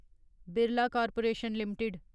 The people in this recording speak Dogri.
Birla corporation limited